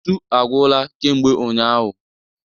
Ntu agwụla kemgbe ụnyaahụ.